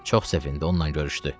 Çox sevindi, onunla görüşdü.